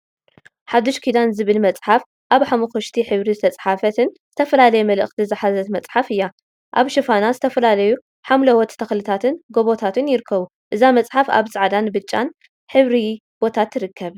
ሓድሽ ኪዳን ዝብል መዕሓፍ አብ ሓመኩሽቲ ሕብሪ ዝተፀሓፈትን ዝተፈላለየ መልእክቲ ዝሓዘት መፅሓፍ እያ፡፡ አብ ሽፋና ዝተፈላለዩ ሓምላዎት ተክልታትን ጎቦታትን ይርከቡ፡፡ እዛ መፅሓፍ አብ ፃዕዳን ብፃጫን ሕብሪ ቦታ ትርከብ፡፡